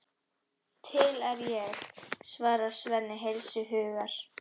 Til er ég, svarar Svenni heils hugar.